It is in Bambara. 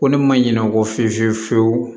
Ko ne ma ɲinɛ o kɔ fiye fiye fiye fiyewu